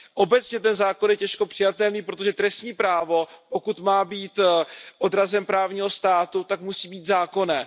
Obecně ten zákon je těžko přijatelný, protože trestní právo, pokud má být odrazem právního státu, tak musí být zákonné.